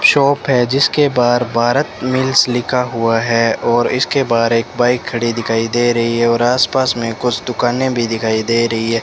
Shop है जिसके बाहर भारत मिल्स लिखा हुआ है और इसके बाहर एक बाइक खड़ी दिखाई दे रही है और आसपास में कुछ दुकानें भी दिखाई दे रही हैं।